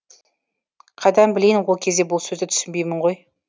қайдан білейін ол кезде бұл сөзді түсінбеймін ғой